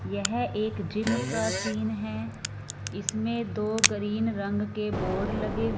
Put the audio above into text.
यह एक जिम का सीन हैं इसमें दो ग्रीन रंग के बोर्ड लगे--